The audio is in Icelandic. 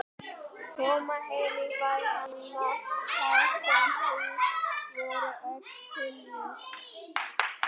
Koma heim í bæ hennar þar sem hús voru öll þiljuð.